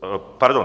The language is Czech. Pardon...